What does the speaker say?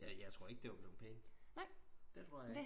Ja jeg tror ikke det var blevet pænt det tror jeg ikke